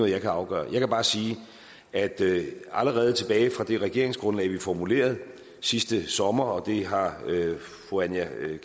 jeg kan afgøre jeg vil bare sige at allerede tilbage fra det regeringsgrundlag vi formulerede sidste sommer og det har fru aaja